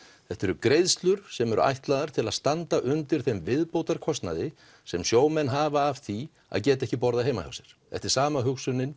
þetta eru greiðslur sem eru ætlaðar til að standa undir þeim viðbótarkostnaði sem sjómenn hafa af því að geta ekki borðað heima hjá sér þetta er sama hugsunin